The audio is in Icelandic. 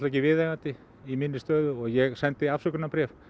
ekki viðeigandi í minni stöðu og ég sendi afsökunarbréf